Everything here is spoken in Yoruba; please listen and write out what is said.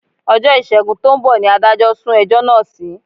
Ọjọ́ Ìṣègùn tó ń bọ̀ ni adájọ́ sún ẹjọ́ náà sí